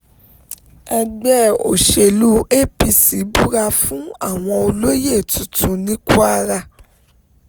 ẹgbẹ́ òṣèlú apc búra fáwọn olóyè tuntun ní kwara